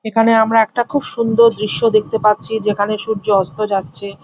এখানে আমরা একটা খুব সুন্দর দৃশ্য দেখতে পাচ্ছি যেখানে সূর্য অস্ত যাচ্ছে।